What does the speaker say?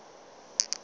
ge ke ile ka se